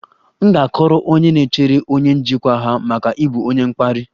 M ga-akọrọ onye na-echere onye njikwa ha maka ịbụ onye mkparị